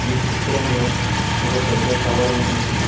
ఈ చిత్రంలో ఒక పెద్ద టవర్ ఉన్నది.